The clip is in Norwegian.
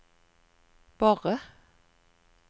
Borre